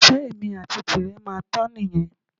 Ìfẹ́ èmi àti tirẹ̀ máa tán nìyẹn